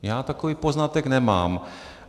Já takový poznatek nemám.